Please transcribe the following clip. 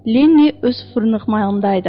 Lenni öz fırnıqmayında idi.